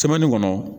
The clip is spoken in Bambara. kɔnɔ